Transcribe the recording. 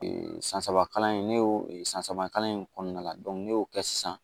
san saba kalan in ne y'o e san saba kalan in kɔnɔna la ne y'o kɛ sisan